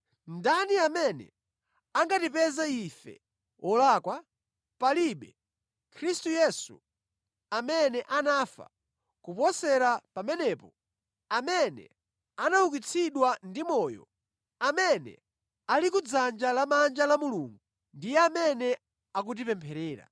Ndani amene angatipeze ife olakwa? Palibe. Khristu Yesu amene anafa, kuposera pamenepo, amene anaukitsidwa ndi moyo, amene ali kudzanja lamanja la Mulungu ndiye amene akutipempherera.